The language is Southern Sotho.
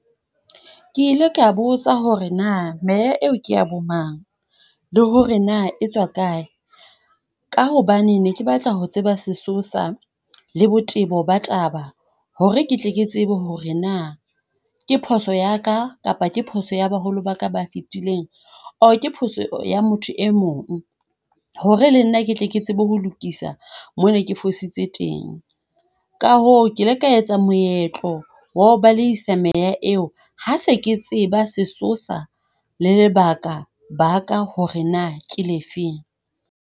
Ke ile ka botsa hore na meya eo ke ya bomang, le hore na etswa kae. Ka hobane ne ke batla ho tseba sesosa le botebo ba taba hore ke tle ke tsebe hore na ke phoso ya ka kapa ke phoso ya baholo ba ka ba fetileng. Or ke phoso ya motho e mong hore le nna ke tle ke tsebe ho lokisa moo ke ne ke fositse teng. Ka hoo, ke ile ka etsa moetlo wa ho balehisa meya eo ha se ke tseba sesosa le lebakabaka hore na ke le fe.